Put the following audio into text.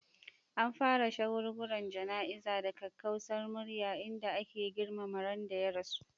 An fara shagulgulan jana'izar da kakkausar murya, inda ake girmama ran da ya rasu.